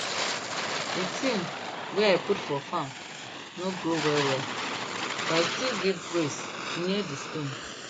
d tin wey i put for farm no grow well well but i still give praise near di stone